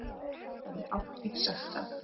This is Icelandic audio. Ég hefði aldrei sagt það.